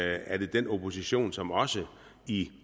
er det den opposition som også i